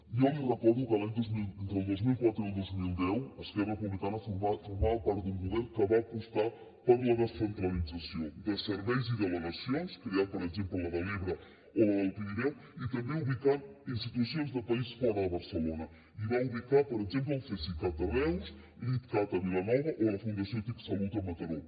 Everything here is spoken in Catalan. jo li recordo que entre el dos mil quatre i el dos mil deu esquerra republicana formava part d’un govern que va apostar per la descentralització de serveis i delegacions creant per exemple la de l’ebre o la del pirineu i també ubicant institucions de país fora de barcelona i va ubicar per exemple el cesicat a reus l’itcat a vilanova o la fundació tic salut a mataró